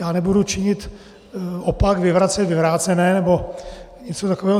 Já nebudu činit opak, vyvracet vyvrácené, nebo něco takového.